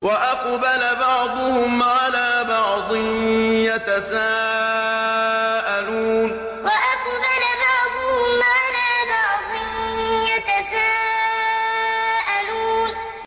وَأَقْبَلَ بَعْضُهُمْ عَلَىٰ بَعْضٍ يَتَسَاءَلُونَ وَأَقْبَلَ بَعْضُهُمْ عَلَىٰ بَعْضٍ يَتَسَاءَلُونَ